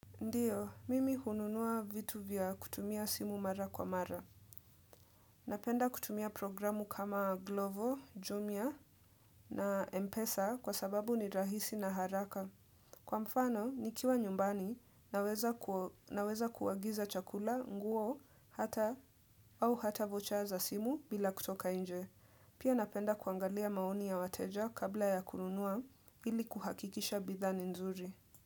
Ndiyo, mimi hununua vitu vya kutumia simu mara kwa mara. Napenda kutumia programu kama Glovo, Jumia na Mpesa kwa sababu ni rahisi na haraka. Kwa mfano, nikiwa nyumbani naweza ku naweza kuagiza chakula, nguo hata vocha za simu bila kutoka inje. Pia napenda kuangalia maoni ya wateja kabla ya kununua ili kuhakikisha bidhaa ni nzuri.